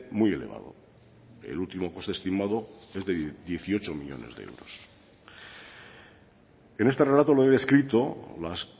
muy elevado el último coste estimado es de dieciocho millónes de euros en este relato lo he descrito las